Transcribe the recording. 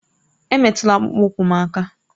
Emetụla akpụkpọ ụkwụ m aka!